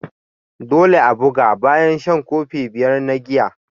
Dole a bugu bayan shan kofi biyar na giya.